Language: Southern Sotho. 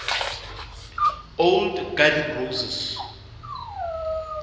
old garden roses